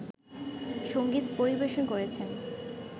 সঙ্গীত পরিবেশন করেছেন